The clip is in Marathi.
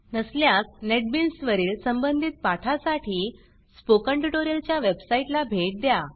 नसल्यास नेटबीन्स वरील संबंधित पाठांसाठी स्पोकन ट्युटोरियलच्या वेबसाईटला भेट द्या